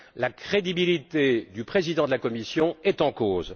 La crédibilité du président de la Commission est en cause.